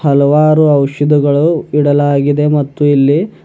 ಹಲವಾರು ಔಷಧಿಗಳು ಇಡಲಾಗಿದೆ ಮತ್ತು ಇಲ್ಲಿ--